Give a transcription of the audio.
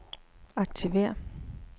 aktiver